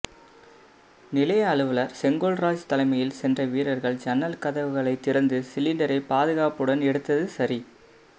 நிலைய அலுவலர் செங்கோல்ராஜ் தலைமையில் சென்ற வீரர்கள் ஜன்னல் கதவுகளை திறந்து சிலிண்டரை பாதுகாப்புடன் எடுத்து சரி